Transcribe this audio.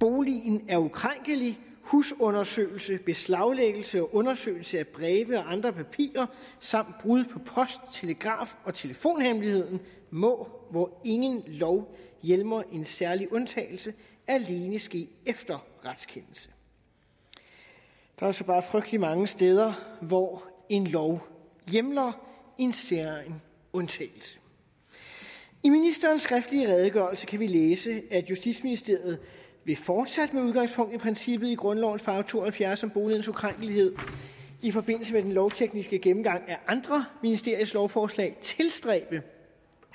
boligen er ukrænkelig husundersøgelse beslaglæggelse og undersøgelse af breve og andre papirer samt brud på post telegraf og telefonhemmeligheden må hvor ingen lov hjemler en særegen undtagelse alene ske efter en retskendelse der er så bare frygtelig mange steder hvor en lov hjemler en særegen undtagelse i ministerens skriftlige redegørelse kan vi læse at justitsministeriet fortsat med udgangspunkt i princippet i grundlovens § to og halvfjerds om boligens ukrænkelighed i forbindelse med den lovtekniske gennemgang af andre ministeriers lovforslag vil tilstræbe